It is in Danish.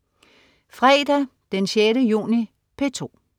Fredag den 6. juni - P2: